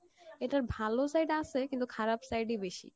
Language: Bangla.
এটার ভালো side আসে কিন্তু খারাপ side ই বেশি।